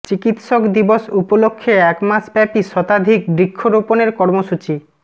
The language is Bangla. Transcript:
চিকিৎসক দিবস উপলক্ষ্যে এক মাস ব্যাপি শতাধিক বৃক্ষরোপণের কর্মসূচী